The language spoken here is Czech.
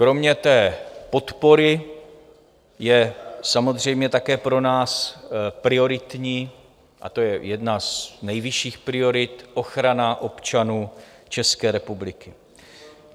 Kromě té podpory je samozřejmě také pro nás prioritní, a to je jedna z nejvyšších priorit, ochrana občanů České republiky.